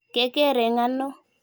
Keker eng' ano?